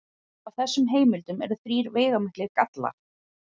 Á þessum heimildum eru þrír veigamiklir gallar.